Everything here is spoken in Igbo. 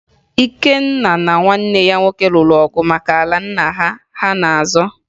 Ikenna na nwanne ya nwoke lụrụ ọgụ maka ala nna ha ha na-azọ